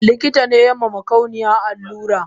Likitane yama makauniyan allura